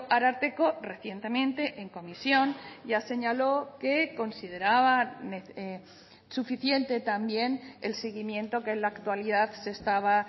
ararteko recientemente en comisión ya señaló que consideraba suficiente también el seguimiento que en la actualidad se estaba